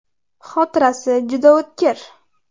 Xotirasi juda o‘tkir.